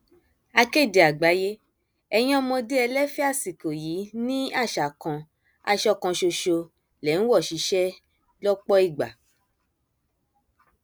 akéde àgbáyé ẹyin ọmọdé ẹlẹfẹ àsìkò yìí ni àṣà kan aṣọ kan ṣoṣo lè ń wọ síṣẹ lọpọ ìgbà